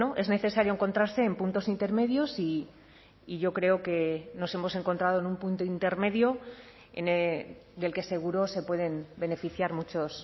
es necesario encontrarse en puntos intermedios y yo creo que nos hemos encontrado en un punto intermedio del que seguro se pueden beneficiar muchos